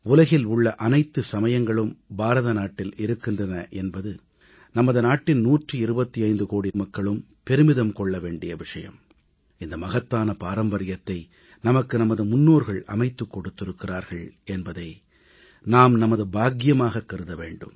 உலகில் உள்ள அனைத்து சமயங்களும் பாரத நாட்டில் இருக்கின்றன என்பது நமது நாட்டின் 125 கோடி மக்களும் பெருமிதம் கொள்ள வேண்டிய விஷயம் இந்த மகத்தான பாரம்பரியத்தை நமக்கு நமது முன்னோர்கள் அமைத்துக் கொடுத்திருக்கிறார்கள் என்பதை நாம் நமது பாக்கியமாகக் கருத வேண்டும்